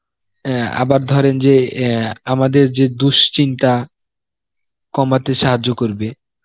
অ্যাঁ আবার ধরেন যে অ্যাঁ আমাদের যে দুশিন্তা কমাতে সাহায্য করবে